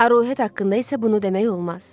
Arohet haqqında isə bunu demək olmaz.